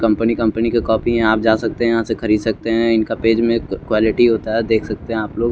company company के copy हे आप जा सकते हे यहा से खरीद सकते हे इनका पेज में क्वाल्टी होता हे देख सकते हो आप लोग --